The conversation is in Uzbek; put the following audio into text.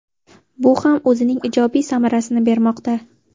Bu ham o‘zining ijobiy samarasini bermoqda.